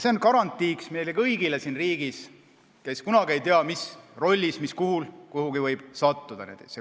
See on meie kõigi garantii siin riigis, sest me kunagi ei tea, mis rolli või kuhu me võime sattuda.